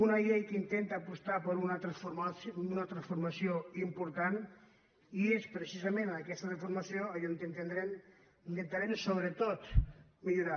una llei que intenta apostar per una transformació important i és precisament en aquesta transformació allà on intentarem sobretot millorar